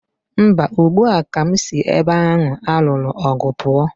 Mba, ugbu a ka m si ebe ahụ a lụrụ ọgụ pụọ.